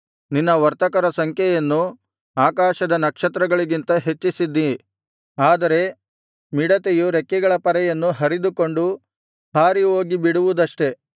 ನಿನ್ನ ವರ್ತಕರ ಸಂಖ್ಯೆಯನ್ನು ಆಕಾಶದ ನಕ್ಷತ್ರಗಳಿಗಿಂತ ಹೆಚ್ಚಿಸಿದ್ದೀ ಆದರೆ ಮಿಡತೆಯು ರೆಕ್ಕೆಗಳ ಪರೆಯನ್ನು ಹರಿದುಕೊಂಡು ಹಾರಿಹೋಗಿ ಬಿಡುವುದಷ್ಟೇ